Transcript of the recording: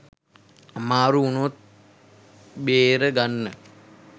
අමාරු උනොත් බේර ගන්න